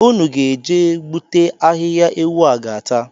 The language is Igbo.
Unu ga-eje gbute ahịhịa ewu a ga-ata